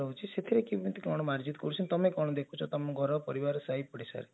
ସେଥିରେ କେମିତି କଣ ମାର୍ଜିତ କରୁଛନ୍ତି ତମେ କଣ ଦେଖୁଛ ତମ ଘର ପରିବାର ସାହି ପୋଡିଶା ରେ